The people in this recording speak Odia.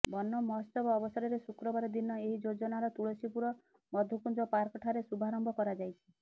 ବନ ମହୋତ୍ସବ ଅବସରରେ ଶୁକ୍ରବାର ଦିନ ଏହି ଯୋଜନାର ତୁଳସୀପୁର ମଧୁକୁଂଜ ପାର୍କ ଠାରେ ଶୁଭାରମ୍ଭ କରାଯାଇଛି